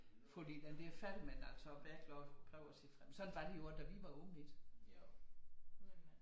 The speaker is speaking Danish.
Fordi det er da fælt men altså også hvad er klokken prøv at se frem sådan var det jo også da vi var unge ikke